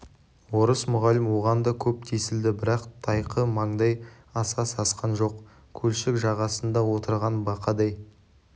орыс мұғалім оған да көп тесілді бірақ тайқы маңдай аса сасқан жоқ көлшік жағасында отырған бақадай